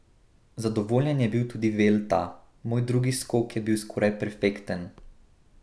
Zadovoljen je bil tudi Velta: 'Moj drugi skok je bil skoraj perfekten.